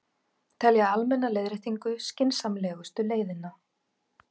Telja almenna leiðréttingu skynsamlegustu leiðina